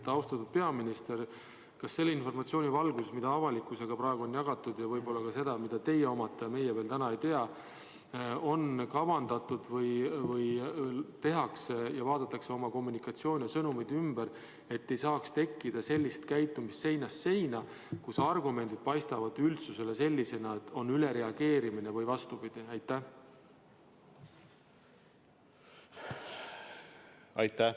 Austatud peaminister, kas selle informatsiooni valguses, mida avalikkusega on jagatud, ja võib-olla ka selle informatsiooni valguses, mida teie omate ja meie täna veel ei tea, on kavandatud kommunikatsioonisõnumeid ümber teha, et ei saaks tekkida sellist seinast seina käitumist, mille korral argumendid paistavad üldsusele sellisena, et on ülereageerimine või vastupidi?